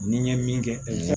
Ni n ye min kɛ